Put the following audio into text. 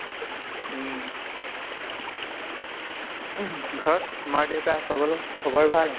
উম ঘৰত মা দেউতা সকলো খবৰ ভাল?